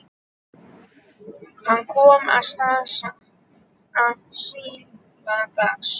Hann kom að Staðarstað síðla dags.